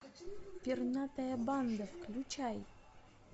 пернатая банда включай